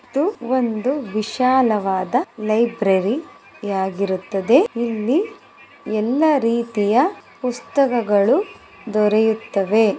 ಇದು ಒಂದು ವಿಶಾಲವಾದ ಲೈಬ್ರರಿ ಯಾಗಿರುತ್ತದೆ ಇಲ್ಲಿ ಎಲ್ಲಾ ರೀತಿಯ ಪುಸ್ತಕಗಳು ದೊರೆಯುತ್ತವೆ. .